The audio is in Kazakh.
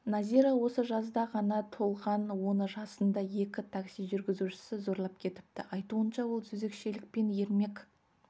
назира осы жазда ғана толған оны жасында екі такси жүргізушісі зорлап кетіпті айтуынша ол жезөкшелікпен ермек